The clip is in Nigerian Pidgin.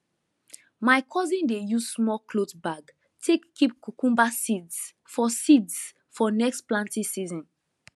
my cousin dey use small cloth bag take keep cucumber seeds for seeds for next planting season